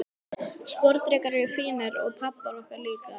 Sporðdrekar eru fínir, og pabbar okkar líka.